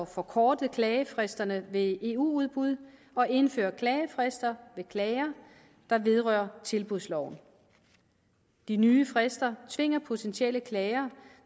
forkorte klagefristerne ved eu udbud og indføre klagefrister ved klager der vedrører tilbudsloven de nye frister tvinger potentielle klagere